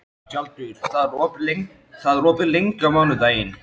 Tjaldur, hvað er opið lengi á mánudaginn?